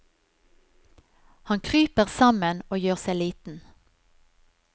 Han kryper sammen og gjør seg liten.